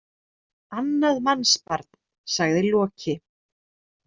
Annað mannsbarn, sagði Loki.